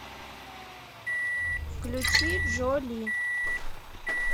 включи джо ли